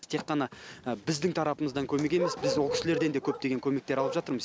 тек қана біздің тарапымыздан көмек емес біз ол кісілерден де көптеген көмек алып жатырмыз